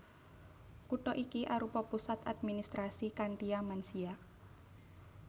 Kutha iki arupa pusat administrasi Khantia Mansia